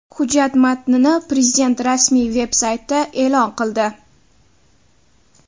Hujjat matnini Prezident rasmiy veb-sayti e’lon qildi .